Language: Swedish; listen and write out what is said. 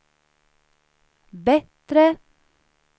bättre